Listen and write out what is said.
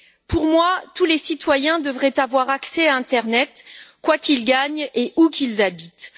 Pour moi, tous les citoyens devraient avoir accès à Internet, quoi qu'ils gagnent et où qu'ils habitent.